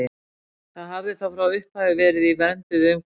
Það hafi þá frá upphafi verið í vernduðu umhverfi.